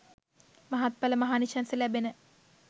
මහත්ඵල මහානිශංස ලැබෙන